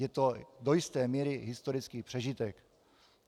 Je to do jisté míry historický přežitek.